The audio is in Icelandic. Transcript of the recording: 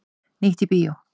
Nýtt í bíó